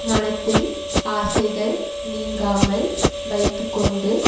மனத்தில் ஆசைகள் நீங்காமல் வைத்து கொண்டு